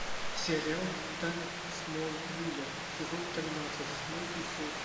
сериал тайны смолвиля сезон тринадцать седьмой эпизод